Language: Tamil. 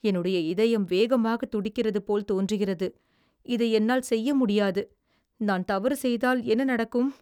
என்னுடைய இதயம் வேகமாகத் துடிக்கிறதுபோல் தோன்றுகிறது. இதை என்னால் செய்ய முடியாது. நான் தவறு செய்தால் என்ன நடக்கும்?